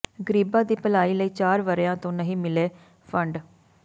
ਗਰੀਬਾਂ ਦੀ ਭਲਾਈ ਲਈ ਚਾਰ ਵਰ੍ਹਿਆਂ ਤੋਂ ਨਹੀਂ ਮਿਲੇ ਫੰਡ